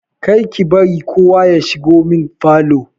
Kar ki bari kowa ya shigo min falo!